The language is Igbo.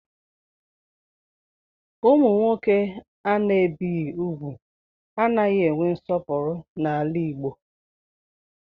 Ụmụ nwoke ana-ebighi úgwù anaghị enwe nsọpụrụ n'ala Igbo